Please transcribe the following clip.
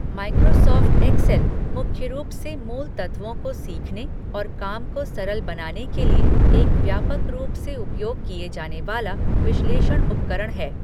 Microsoft Excel मुख्य रूप से मूल तत्वों को सीखने और काम को सरल बनाने के लिए एक व्यापक रूप से उपयोग किया जाने वाला विश्लेषण उपकरण है।